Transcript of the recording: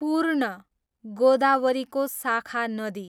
पूर्ण, गोदावरीको शाखा नदी